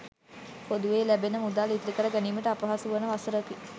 පොදුවේ ලැබෙන මුදල් ඉතිරිකර ගැනිමට අපහසු වන වසරකි.